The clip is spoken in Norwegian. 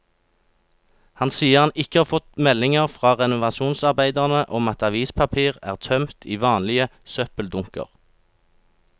Han sier han ikke har fått meldinger fra renovasjonsarbeiderne om at avispapir er tømt i vanlige søppeldunker.